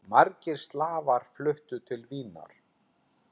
Margir slavar fluttu til Vínar.